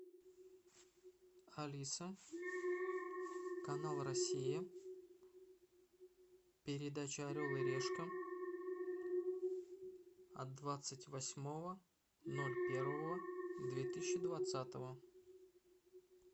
алиса канал россия передача орел и решка от двадцать восьмого ноль первого две тысячи двадцатого